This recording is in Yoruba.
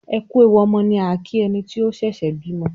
"ẹkú ẹwù ọmọ" ni a kí ẹni tí ó ṣẹ̀ṣẹ̀ bímọ